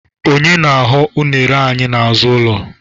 Onye na-aghọ unere anyị n'azụ ụlọ?